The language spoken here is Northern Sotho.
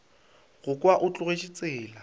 go kwa o tlogetše tsela